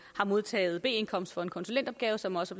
har modtaget b indkomst for en konsulentopgave som også